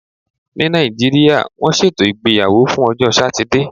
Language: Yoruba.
Ní Nàìjíríà, wọ́n ṣètò ìgbéyàwó fún ọjọ́ Satide.